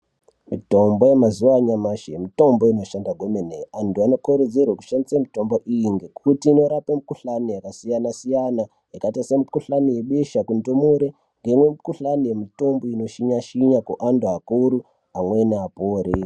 Mutombo yemazuwa anyamashi mutombo inoshanda kwemene. Antu anokurudzirwe kushandise mutombo iyi ngekuti onorape mukhuhlani yakasiyana siyana. Yakaita semukhuhlani yebesha kundumure, ngemukhuhlani yemutombo yeantu anoshinya shinya kuantu akuru amweni apore.